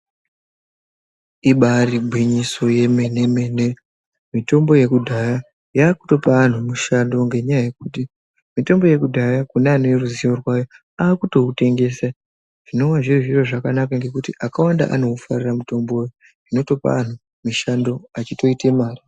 Ibari gwinyiso yomene mitombo yekudhaya yakutopa anhu mushando ngenyaya mitombo yekudhaya kune aneruzivo rwayo akutoutengese zvinova zviri zviro zvakanaka nekuti akawanda anoufarira mutombo uyu zvinotopa anhu mishando achitoite mare.